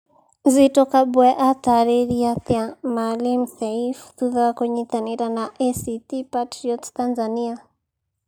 Zitto Kabwe aataarĩirie atĩa Maalim Seif thutha wa kũnyitanĩra na ACT Patriots Tanzania